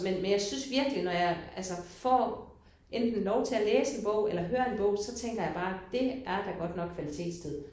Men men jeg synes virkelig når jeg altså får enten lov til at læse en bog eller hører en bog så tænker jeg bare dét er da godt nok kvalitetstid